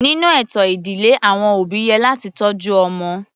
Nínú ètò ìdílé àwọn òbí yẹ láti tọ́jú ọmọ.